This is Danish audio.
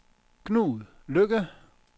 Knud Lykke